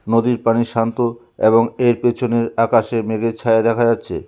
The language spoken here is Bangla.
নদীর পানি শান্ত এবং এর পেছনের আকাশে মেঘের ছায়া দেখা যাচ্ছে।